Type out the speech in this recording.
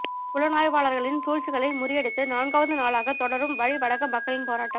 புலனாய்வாளர்களின் சூழ்ச்சிகளை முறியடித்து நான்காவது நாளாகத் தொடரும் வலி வடக்கு மக்களின் போராட்டம்